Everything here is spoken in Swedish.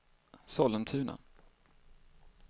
Sollentuna